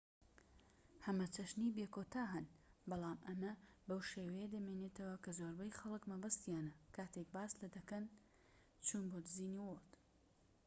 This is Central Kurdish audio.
هەمەچەشنی بێکۆتا هەن، بەڵام ئەمە بەو شێوەیە دەمێنێتەوە کە زۆربەی خەڵک مەبەستیانە کاتێک باس لە چوون بۆ دیزنی وۆرڵد"‎ دەکەن